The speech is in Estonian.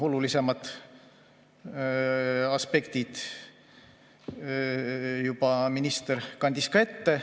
Olulisemad aspektid minister kandis juba ka ette.